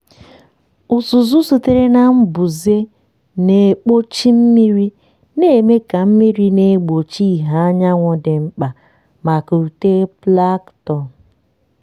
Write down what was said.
uzuzu sitere na mbuze na-ekpuchi mmiri na-eme ka mmiri na-egbochi ìhè anyanwụ dị mkpa maka uto plankton.